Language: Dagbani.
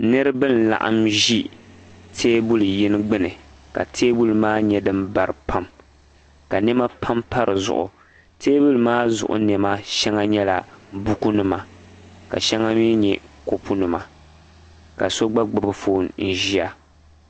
niriba n-laɣim ʒi teebuli yini gbuni ka teebuli maa nyɛ din bari pam ka nɛma pam pa di zuɣu teebuli maa zuɣu nɛma shɛŋa nyɛla bukunima ka shɛŋa mi nyɛ kopunima ka so gba gbubi foon nʒia